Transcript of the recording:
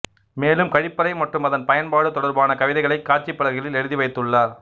மேலும் கழிப்பறை மற்றும் அதன் பயன்பாடு தொடர்பான கவிதைகளைப் காட்சிப்பலகைகளில் எழுதிவைத்துள்ளனர்